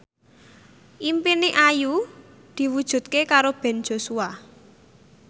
impine Ayu diwujudke karo Ben Joshua